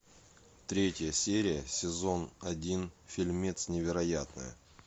третья серия сезон один фильмец невероятное